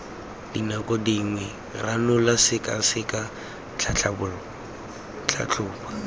dinako dingwe ranola sekaseka tlhatlhoba